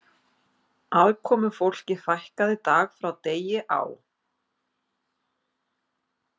Aðkomufólki fækkaði dag frá degi á